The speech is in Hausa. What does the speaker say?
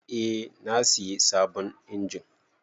Eh na sayi sabon injin.